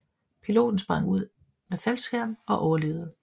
Piloten sprang ud med faldskærm og overlevede